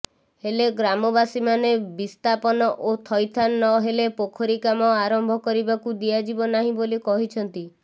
ହେଲେ ଗ୍ରାମବାସୀମାନେ ବିସ୍ଥାପନ ଓ ଥଇଥାନ ନହେଲେ ପୋଖରୀ କାମ ଆରମ୍ଭ କରିବାକୁ ଦିଆଯିବ ନାହି ବୋଲି କହିଛନ୍ତି